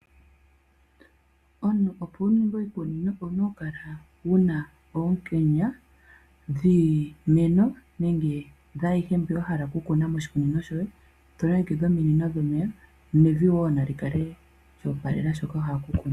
Omuntu opo wuninge oshikunino owuna oku kala wuna oonkenya dhiimeno nenge dhaayihe mbyono wa hala okukuna moshikunino shoye eto longekidha ominino dhomeya nevi nali kale lyoopalela shono wahala okukuna.